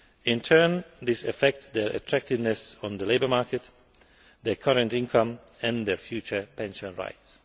In turn, this affects their attractiveness on the labour market, their current income and their future pension rights.